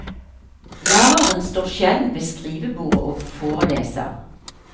Læreren står sjelden ved skrivebordet og foreleser.